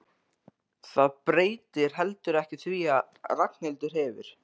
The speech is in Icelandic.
Það breytir heldur ekki því að Ragnhildur hefur